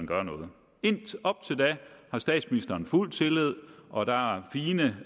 gør noget op til da har statsministeren fuld tillid og der er fine